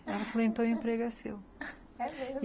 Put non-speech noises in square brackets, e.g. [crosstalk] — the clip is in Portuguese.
Ela falou, então o emprego é seu, [laughs] é mesmo?